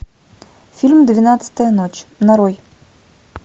фильм двенадцатая ночь нарой